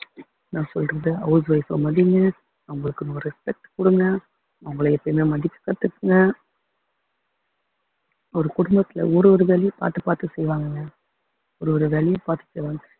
நான் சொல்றது house wife அ மதிங்க அவங்களுக்குன்னு ஒரு respect குடுங்க அவங்களை எப்பயுமே மதிக்க கத்துக்கங்க ஒரு குடும்பத்தில ஒரு ஒரு வேலையும் பார்த்து பார்த்து செய்வாங்கங்க